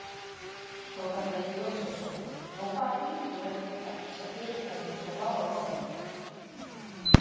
Þórhallur Jósefsson: Og hvaða þýðingu hefur þetta fyrir fyrirtæki eins og Bláa lónið?